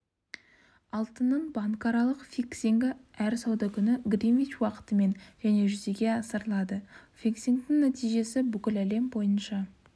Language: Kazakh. алтынның банкаралық фиксингі әр сауда күні гринвич уақытымен және жүзеге асырылады фиксингтің нәтижесі бүкіл әлем бойынша